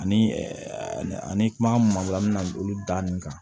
Ani ani kuma mun an bɛna olu da nin kan